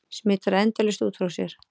Smitar endalaust út frá sér.